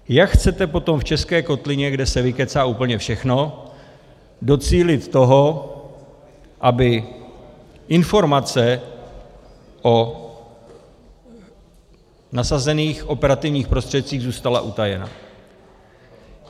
Jak chcete potom v české kotlině, kde se vykecá úplně všechno, docílit toho, aby informace o nasazených operativních prostředcích zůstala utajena?